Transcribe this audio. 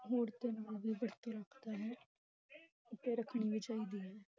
ਰੱਖਦਾ ਹੈ ਅਤੇ ਰੱਖਣੀ ਵੀ ਚਾਹੀਦੀ ਹੈ।